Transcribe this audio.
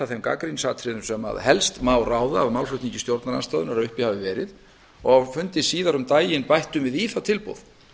þeim gagnrýnisatriðum sem helst má ráða af málflutningi stjórnarandstöðunnar að uppi hafi verið á fundi síðar um daginn bættum við í það tilboð